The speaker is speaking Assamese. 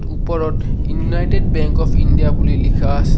ওপৰত ইউনাইটেড বেংক অফ ইণ্ডিয়া বুলি লিখা আছে।